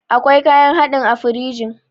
Akwai kayan hadin a firingi